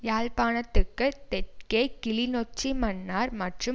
யாழ்ப்பாணத்துக்கு தெற்கே கிளிநொச்சி மன்னார் மற்றும்